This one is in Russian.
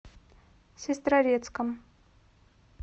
сестрорецком